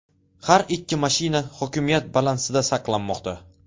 Har ikki mashina hokimiyat balansida saqlanmoqda.